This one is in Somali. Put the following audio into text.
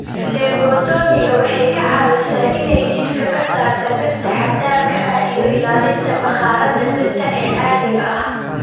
Phlebotomiga waxay caawisaa inay jidhka ka saarto birta xad-dhaafka ah iyo ilaalinta bakhaarada birta ee caadiga ah.